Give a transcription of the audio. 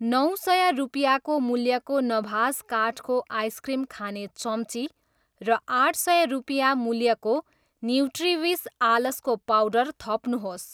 नौ सय रुपियाँ मूल्यको नभास काठको आइसक्रिम खाने चम्ची र आठ सय रुपियाँ मूल्यको न्युट्रिविस आलसको पाउडर थप्नुहोस्।